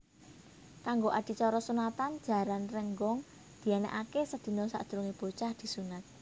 Kanggo adicara sunatan Jaran Rénggong dianakaké sedina sadurungé bocah disunat